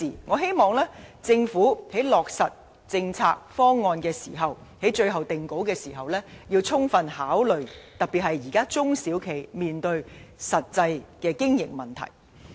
我希望政府在落實政策方案及最終定稿時要充分考慮各相關事宜，特別是現時中小企面對的實際經營問題。